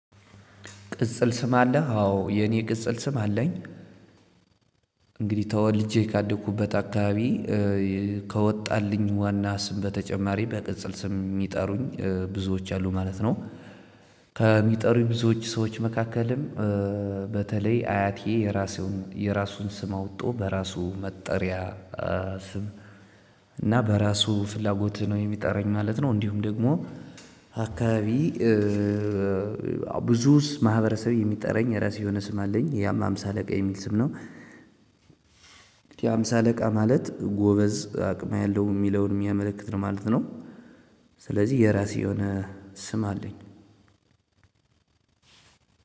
ቅጽል ስም አለ አዎ የኔ ቅጽል ስም አለኝ። እንግዲህ ተወልጄ ካደኩበት አካባቢ ከወጣልኝ ዋና ስም በተጨማሪ በቅጽል ስም ሚጠሩኝ ብዙዎች አሉ ማለት ነው። ከሚጠሩኝ ብዙዎች ሰዎች መካከልም በተለይ አያቴ የራሴውን የራሱን ስም አውጦ በራሱ መጠሪያ ስም እና በራሱ ፍላጎትህ ነው የሚጠራኝ ማለት ነው። እንዲሁም ደግሞ አካባቢ። ብዙስ ማህበረሰብ የሚጠራኝ የራሴ የሆነ ስም አለኝ ያማ አምሳ አለቃ የሚል ስም ነው። ያም አምሳ አለቃ ማለት ጎበዝ አቅም ያለው የሚለውን የሚያመለክት ነው ማለት ነው። ስለዚህ የራሴ የሆነ ስም አለኝ።